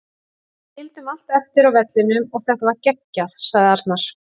Við skildum allt eftir á vellinum og þetta var geggjað, sagði Arnar.